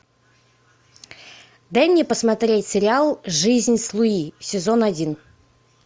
дай мне посмотреть сериал жизнь с луи сезон один